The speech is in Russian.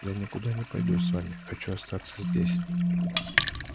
я никуда не пойду с вами хочу остаться здесь